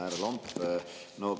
Härra Lomp!